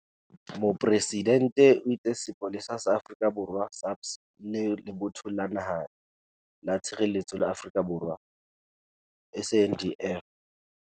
Mopresidente o itse Sepolesa sa Afrika Borwa, SAPS, le Lebotho la Naha la Tshireletso la Afrika Borwa, SANDF.